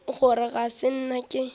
gore ga se nna ke